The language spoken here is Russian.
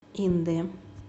индэ